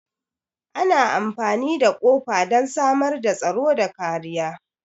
Ana amfani da kofa don samar da tsaro da kariya.